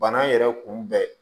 Bana yɛrɛ kunbɛn